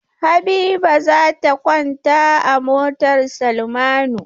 Habiba za ta kwanta a motar Salmanu.